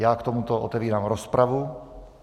Já k tomuto otevírám rozpravu.